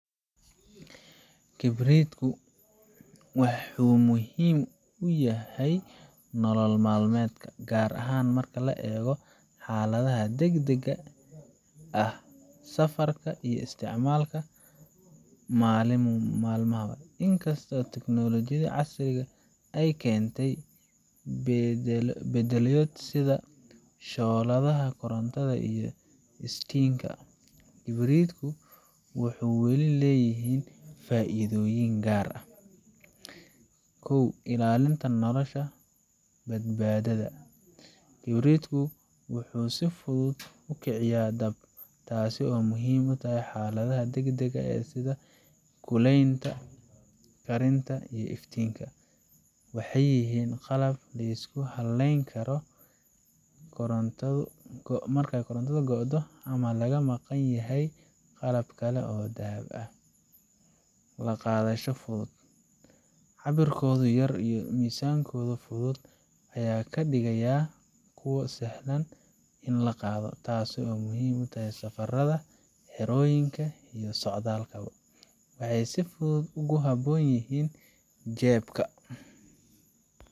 Kibritku waxuumuhiim u yihiin nolol maalmeedka, gaar ahaan marka la eego xaaladaha degdegga ah, safarka, iyo isticmaalka maalinlaha ah. Inkasta oo tiknoolajiyada casriga ah ay keentay beddelaadyo sida shooladaha korontada iyo iftiinka, Kibritku - waxuu weli leeyihiin faa'iidooyin gaar ah Ilaalinta Nolosha iyo Badbaadada Kibritku waxuu si fudud u kiciyaan dab, taasoo muhiim u ah xaaladaha degdegga ah sida kulaylinta, karinta, iyo iftiinka. Waxay yihiin qalab la isku halleyn karo marka korontadu go'do ama laga maqan yahay qalab kale oo dab lagu shido. La Qaadasho Fudud Cabbirkooda yar iyo miisaankooda fudud ayaa ka dhigaya kuwo sahlan in la qaato, taasoo muhiim u ah safarrada, xerooyinka, iyo socdaallada. Waxay si fudud ugu habboon yihiin jeebabka